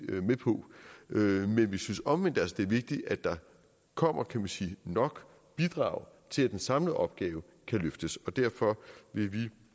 med på men vi synes omvendt det er vigtigt at der kommer nok bidrag til at den samlede opgave kan løftes derfor vil vi